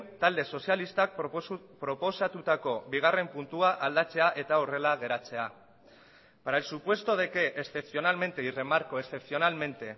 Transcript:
talde sozialistak proposatutako bigarren puntua aldatzea eta horrela geratzea para el supuesto de que excepcionalmente y remarco excepcionalmente